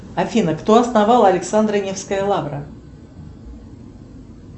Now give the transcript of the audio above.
афина кто основал александро невская лавра